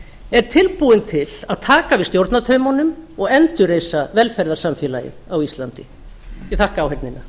er tilbúinn til að taka við stjórnartaumunum og endurreisa velferðarsamfélagið á íslandi ég þakka áheyrnina